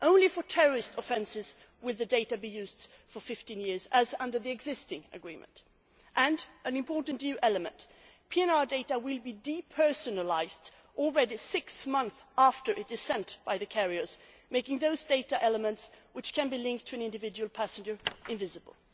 Only for terrorist offences would the data be used for 15 years as under the existing agreement and an important new element PNR data will be depersonalised six months after it is sent by the carriers, making those data elements which can be linked to an individual passenger invisible.